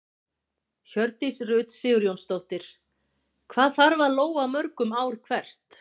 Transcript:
Hjördís Rut Sigurjónsdóttir: Hvað þarf að lóga mörgum ár hvert?